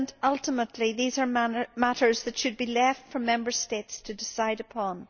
Ultimately these are matters that should be left for Member States to decide upon.